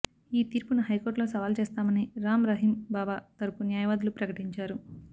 ఈ తీర్పును హైకోర్టులో సవాల్ చేస్తామని రామ్ రహీమ్ బాబా తరపు న్యాయవాదులు ప్రకటించారు